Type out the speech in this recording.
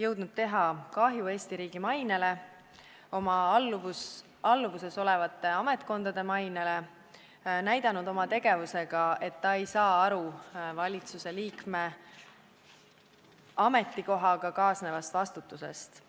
jõudnud teha kahju Eesti riigi mainele, oma alluvuses olevate ametkondade mainele ja näidanud oma tegevusega, et ta ei saa aru valitsuse liikme ametikohaga kaasnevast vastutusest.